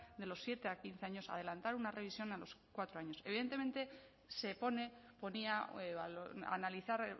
de los siete a quince años adelantar una revisión a los cuatro años evidentemente se pone ponía analizar